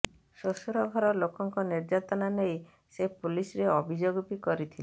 ଶ୍ୱଶୁର ଘର ଲୋକଙ୍କ ନିର୍ଯାତନା ନେଇ ସେ ପୋଲିସରେ ଅଭିଯୋଗ ବି କରିଥିଲେ